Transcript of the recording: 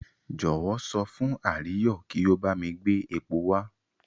Jọ̀wọ́ sọ fún Àríyọ̀ kí ó bá mi gbé epo wá.